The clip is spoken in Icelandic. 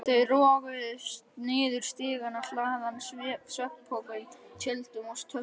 Þau roguðust niður stigana, hlaðin svefnpokum, tjöldum og töskum.